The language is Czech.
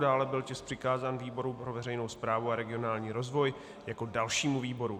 Dále byl tisk přikázán výboru pro veřejnou správu a regionální rozvoj jako dalšímu výboru.